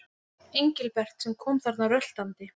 Engilbert sem kom þarna röltandi.